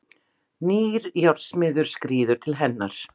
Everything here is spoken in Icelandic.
Nýr járnsmiður skríður til hennar.